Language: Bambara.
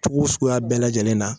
Cogo suguya bɛɛ lajɛlen na.